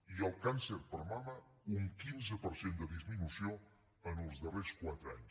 i el càncer de mama un quinze per cent de disminució en els darrers quatre anys